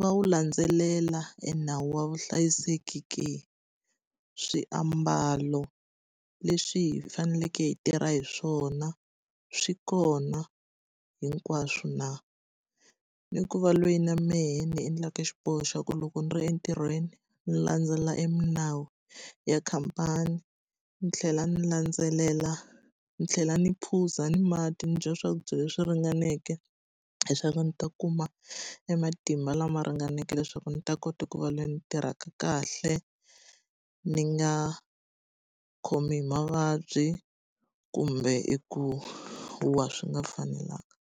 va wu landzelela e nawu wa vuhlayiseki ke? Swiambalo leswi hi faneleke hi tirha hi swona swi kona hinkwaswo na? Ni ku va loyi na mehe ni yi endlaka xiboho xa ku loko ni ri entirhweni, ndzi landzelela e milawu ya khampani, ni tlhela ni landzelela ni tlhela ni phuza ni mati, ni dya swakudya leswi ringaneke leswaku ndzi ta kuma e matimba lama ringaneke leswaku ndzi ta kota ku va ni tirhaka kahle. Ni nga khomi hi mavabyi kumbe eku wa swi nga fanelanga.